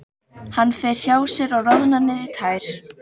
Hann fer hjá sér og roðnar niður í tær.